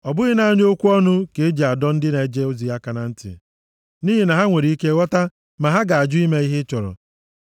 Ọ bụghị naanị okwu ọnụ ka e ji adọ ndị na-eje ozi aka na ntị, nʼihi na ha nwere ike ghọta ma ha ga-ajụ ime ihe ị chọrọ.